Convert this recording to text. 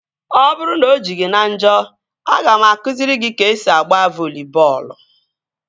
Ọ bụrụ na o ji gị na njọ, aga m akụziri gị ka esi agba voli bọọlụ